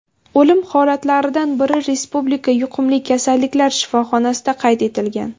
O‘lim holatlaridan biri Respublika yuqumli kasalliklar shifoxonasida qayd etilgan.